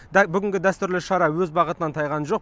дәл бүгінгі дәстүрлі шара өз бағытынан тайған жоқ